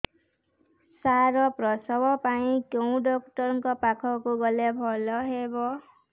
ସାର ପ୍ରସବ ପାଇଁ କେଉଁ ଡକ୍ଟର ଙ୍କ ପାଖକୁ ଗଲେ ଭଲ ହେବ